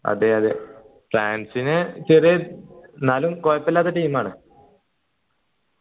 അതെ അതെ ഫ്രാൻസിന് ചെറിയ എന്നാലും കുഴപ്പല്ലാത്ത team ആ